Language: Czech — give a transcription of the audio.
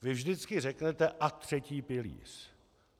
Vy vždycky řeknete: A třetí pilíř.